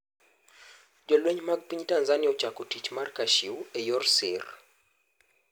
Jolweny mag piny Tanzania ochako 'Tich mar Kashew' e yor sir.